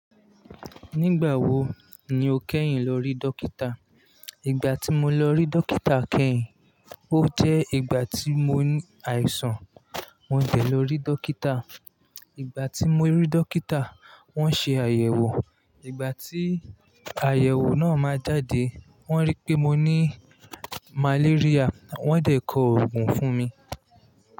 Nígbà wo ni o kẹ́yìn lọ rí dókítà? Ìgbà tí mo lọ rí dókítà kẹ́yìn, ó jẹ́ ìgbà tí mo ní àìsàn. Mo dé lọ rí dókítà. Ìgbà tí mo rí dókítà, wọ́n ṣe àyẹ̀wò. Ìgbà tí àyẹ̀wò náà máa jáde, wọ́n rí pé mo ní malaria. Wọ́n dẹ̀ kọ òògùn fún mi.